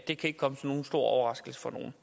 det kan ikke komme som nogen stor overraskelse for nogen